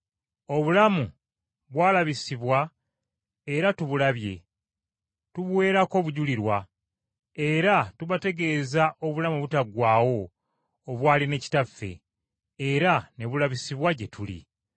Obulamu bwalabisibwa, era tubulabye, tubuweerako obujulirwa, era tubategeeza obulamu obutaggwaawo obwali ne Kitaffe, era ne bulabisibwa gye tuli.